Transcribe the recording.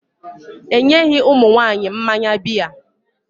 E nyeghị ụmụ nwaanyị mmanya bịa.